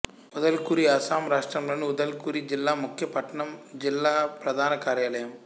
ఉదల్గురి అస్సాం రాష్ట్రంలోని ఉదల్గురి జిల్లా ముఖ్య పట్టణం జిల్లా ప్రధాన కార్యాలయం